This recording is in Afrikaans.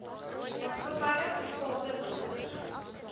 maatskappye private dokters